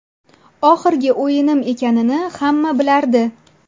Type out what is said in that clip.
Oxirgi o‘yinim ekanini hamma bilardi.